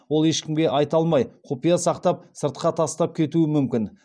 ол ешкімге айта алмай құпия сақтап сыртқа тастап кетуі мүмкін